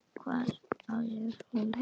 Hvar á hún heima?